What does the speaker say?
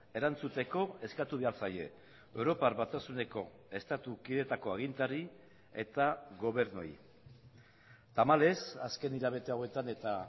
erantzuteko eskatu behar zaie europar batasuneko estatu kideetako agintari eta gobernuei tamalez azken hilabete hauetan eta